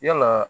Yalaa